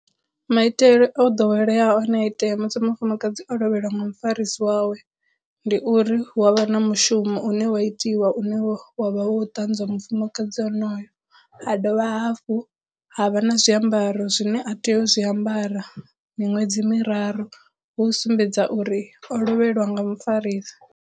Maitele o ḓoweleaho a ne a itea musi mufumakadzi o lovheliwa nga mufarisi wawe ndi uri hu avha na mushumo une wa itiwa une wa wa vha wo ṱanzwa mufumakadzi onoyo, ha dovha hafhu ha vha na zwiambaro zwine a tea u zwiambara miṅwedzi miraru hu u sumbedza uri o lovheliwa nga mufarisa.